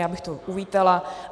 Já bych to uvítala.